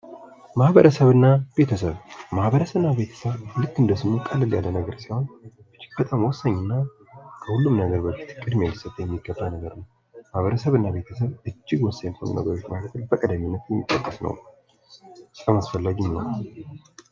ማህበረሰብ እና ቤተሰብ ማህበረሰብ እና ቤተሰብ ልክ እንደ ስሙ ቀለል ያለ ሲሆን ከሁሉም ነገር በፊት ቅድሚያ ሊሰጠው የሚገባ ነገር ነው። ማህበረሰብ እና ቤተሰብ እጅግ ወሳኝ ከሆኑ ነገር መካከል በቀዳሚነት የሚጠቀስ ነው በጣም አስፈላጊም ነው።